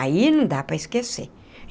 Aí não dá para esquecer.